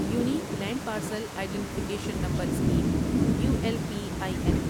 unique land parcel identification number scheme U L P I N